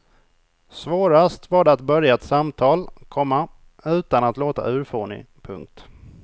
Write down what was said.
Svårast var det att börja ett samtal, komma utan att låta urfånig. punkt